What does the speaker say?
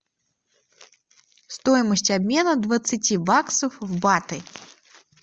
стоимость обмена двадцати баксов в баты